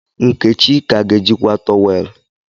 Nkechi ka ga-eji akwa towel?